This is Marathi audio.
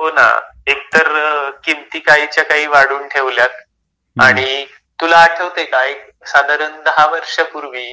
हो ना, एक तर किमती काही च्या काही वाढवून ठेवल्यात आणि तुला आठवतंय का? एक साधारण दहा वर्षापूर्वी